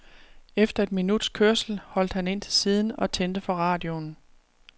Efter et minuts kørsel holdt han ind til siden og tændte for radioen.